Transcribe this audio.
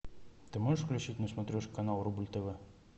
ты можешь включить на смотрешке канал рубль тв